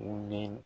U ye